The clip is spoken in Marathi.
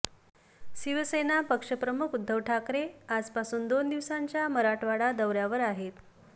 शिवसेना पक्षप्रमुख उद्धव ठाकरे आजपासून दोन दिवसांच्या मराठवाडा दौऱ्यावर आहेत